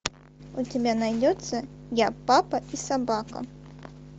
у тебя найдется я папа и собака